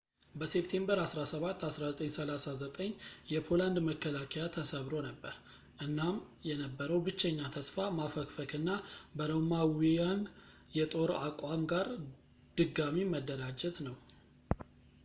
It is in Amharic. በሴፕቴምበር 17 1939 የፖላንድ መከላከያ ተሰብሮ ነበር እናም የነበረው ብቸኛ ተስፋ ማፈግፈግ እና በሮማዊይንን የጦር አቋም ጋር ድጋሚ መደራጀት ነው